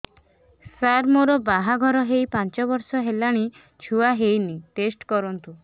ସାର ମୋର ବାହାଘର ହେଇ ପାଞ୍ଚ ବର୍ଷ ହେଲାନି ଛୁଆ ହେଇନି ଟେଷ୍ଟ କରନ୍ତୁ